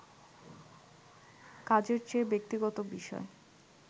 কাজের চেয়ে ব্যক্তিগত বিষয়